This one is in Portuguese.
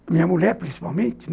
A minha mulher, principalmente.